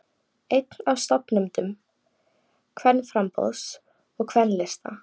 Einn af stofnendum Kvennaframboðs og Kvennalista